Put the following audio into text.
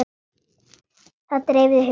Það dreifði huga hennar.